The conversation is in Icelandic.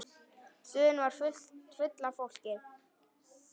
Stöðin var full af fólki.